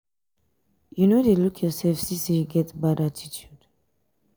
you no dey look yoursef see sey you get bad attitude?